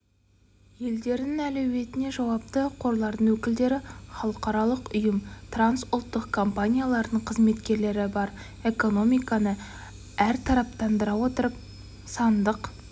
елдерінің әлеуетіне жауапты қорлардың өкілдері халықаралық ұйым трансұлттық компаниялардың қызметкерлері бар экономиканы әртараптандыра отырып сандық